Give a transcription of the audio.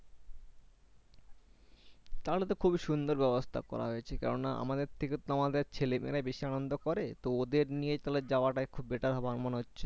তাহলে তো খুবই সুন্দর ব্যবস্থা করা হয়েছে কেননা আমাদের থেকে তোমার ছেলে-মেয়েরাই বেশি আনন্দ করে তো ওদের নিয়ে তাহলে যাওয়াটাই better হবে আমার মনে হচ্ছে।